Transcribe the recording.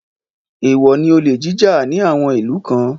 Èèwọ̀ ni olè jíjà ní àwọn ìlú kan